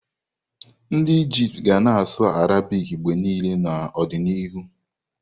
Ndị Ijipt ga na-asụ Arabic mgbe niile n'ọdịnihu.